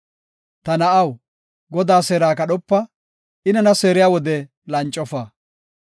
Ta na7aw, Godaa seera kadhopa; I nena seeriya wode lancofa.